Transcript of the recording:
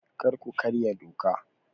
Kar ku karya doka!